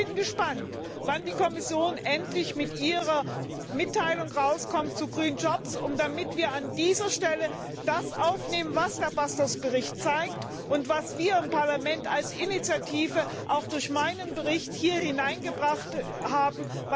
Ich bin gespannt, wann die Kommission endlich ihre Mitteilung zu green jobs vorlegt, damit wir an dieser Stelle das aufnehmen, was der Bericht Bastos zeigt und was wir im Parlament als Initiative auch durch meinen Bericht hier hineingebracht haben.